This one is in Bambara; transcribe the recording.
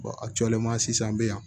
a cɔlenma sisan be yan